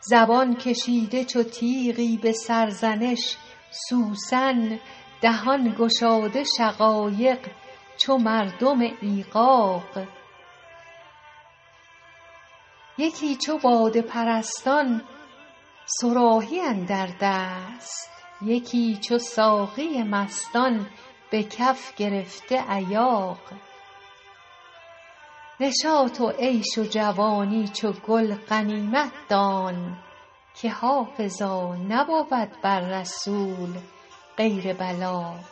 زبان کشیده چو تیغی به سرزنش سوسن دهان گشاده شقایق چو مردم ایغاغ یکی چو باده پرستان صراحی اندر دست یکی چو ساقی مستان به کف گرفته ایاغ نشاط و عیش و جوانی چو گل غنیمت دان که حافظا نبود بر رسول غیر بلاغ